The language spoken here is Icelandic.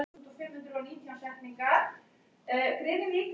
Miklir skipsskaðar urðu víða um land og kirkjur fuku.